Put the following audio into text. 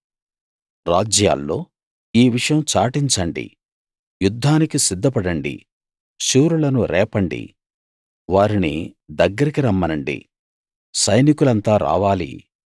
రాజ్యాల్లో ఈ విషయం చాటించండి యుద్ధానికి సిద్ధపడండి శూరులను రేపండి వారిని దగ్గరికి రమ్మనండి సైనికులంతా రావాలి